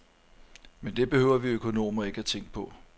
Men det behøver vi økonomer ikke tænke på.